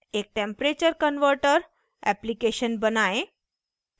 एक temperature converter application बनाएँ